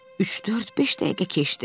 Üç, dörd, beş dəqiqə keçdi.